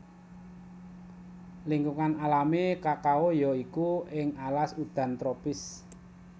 Lingkungan alami kakao ya iku ing alas udan tropis